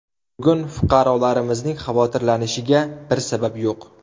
Bugun fuqarolarimizning xavotirlanishiga bir sabab yo‘q.